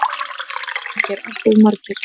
Valgeir: Alltof margir?